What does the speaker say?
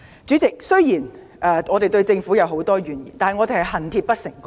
主席，我們雖然對政府有很多怨言，但只是出於恨鐵不成鋼之心。